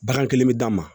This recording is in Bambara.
Bagan kelen bɛ d'a ma